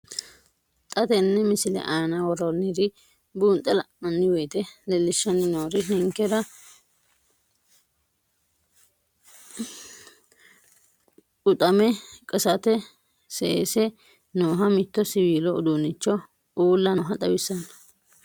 Xa tenne missile aana worroonniri buunxe la'nanni woyiite leellishshanni noori ninkera quxame qasate seese nooha mitto siwiilu uduunnicho ulla nooha xawissanno.